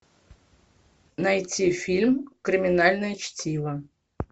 найти фильм криминальное чтиво